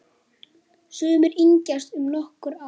Sumir yngjast um nokkur ár.